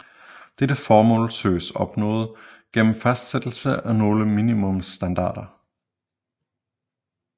Dette formål søges opnået gennem fastsættelsen af nogle minimumsstandarder